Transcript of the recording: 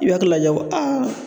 I bi hakili lajɛ ko